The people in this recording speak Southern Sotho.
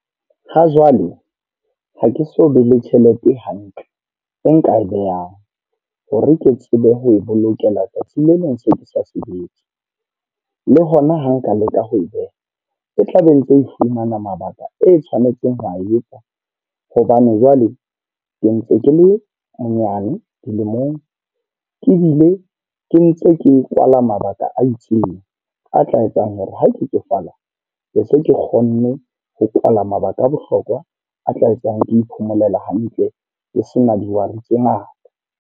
Ha jwale ha ke so be le tjhelete hantle, e nka e behang. Hore ke tsebe ho e bolokela tsatsing le leng se ke sa sebetse. Le hona ha nka leka ho e beha, e tla be e ntse e fumana mabaka e tshwanetseng ho a e etsa. Hobane jwale ke ntse ke le monyane dilemong, ebile ke ntse ke kwala mabaka a itseng. A tla etsang hore ha ke tsofala be se ke kgonne ho kwala mabaka a bohlokwa a tla etsang ke iphomolela hantle, ke sena dihwai tse ngata.